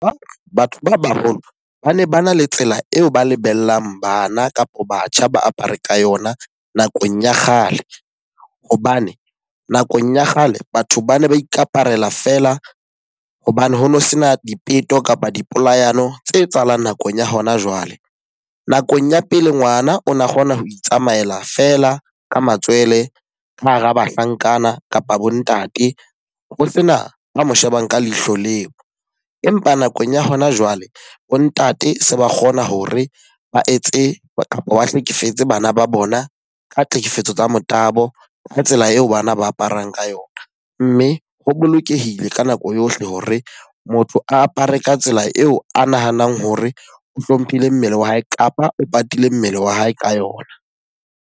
Batho ba baholo ba ne ba na le tsela eo ba lebellang bana kapo batjha ba apare ka yona nakong ya kgale. Hobane nakong ya kgale batho ba ne ba ikaparela feela hobane ho no se na dipeto kapa di polayano tse etsahalang nakong ya hona jwale. Nakong ya pele ngwana o na kgona ho itsamaela feela ka matswele ka hara bahlankana kapa bo ntate ho sena a mo shebang ka leihlo leo. Empa nakong ya hona jwale, bo ntate se ba kgona hore ba etse kapa ba hlekefetse bana ba bona ka tlhekefetso tsa motabo, ka tsela eo bana ba aparang ka yona. Mme ho bolokehile ka nako yohle hore motho a apare ka tsela eo a nahanang hore o hlomphile mmele wa hae kapa o patile mmele wa hae ka yona.